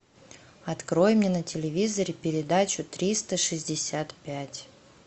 открой мне на телевизоре передачу триста шестьдесят пять